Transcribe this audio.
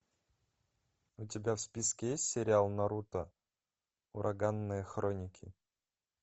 у тебя в списке есть сериал наруто ураганные хроники